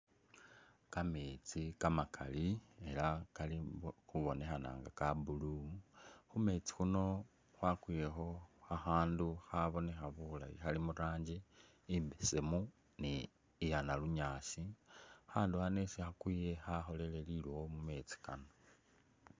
Kamesti kamakali ela kali khubonekhana nga ka blue ,khumesti khuno khwakwilekho khakhandu khabonekha bulayi khali muranji embesemu ni iya nalunyasi akhandu khano isi khakwile khakholele lilowo mumesti kano.